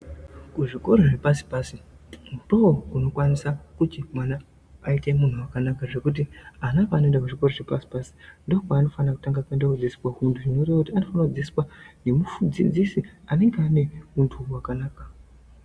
Kuzvikoro zvepasi pasi ndookunokwanisa kuti mwana aite munhu wakanaka zvekuti ana paanoenda kuzvikoro zvepasi pasi ndokwaanofana kutanga kuende kodzidziswa untu, zvinoreva kuti anofana kudzidziswa nemudzidzisi anenge ane huntu hwakanaka.